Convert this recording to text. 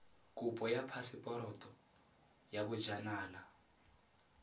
kopo ya phaseporoto ya bojanala